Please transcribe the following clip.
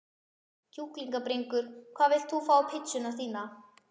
Kjúklingabringur Hvað vilt þú fá á pizzuna þína?